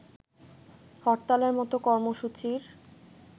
হরতালের মতো কর্মসূচির